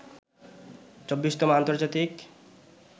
২৪তম আন্তর্জাতিক